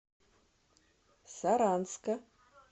саранска